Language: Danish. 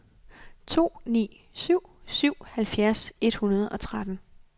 to ni syv syv halvfjerds et hundrede og tretten